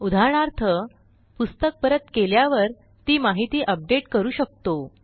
उदाहरणार्थपुस्तक परत केल्यावर ती माहिती अपडेट करू शकतो